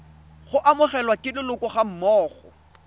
go amogelwa ke leloko gammogo